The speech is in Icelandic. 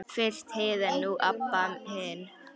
Fyrst Heiða, nú Abba hin.